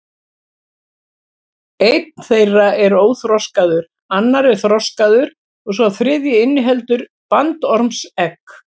Einn þeirra er óþroskaður, annar er þroskaður og sá þriðji inniheldur bandormsegg.